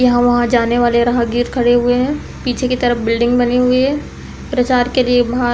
यहाँ वहाँ जाने वाले राहगीर खड़े हुए हैं। पीछे की तरफ बिल्डिंग बनी हुई है। प्रचार के लिए बाह --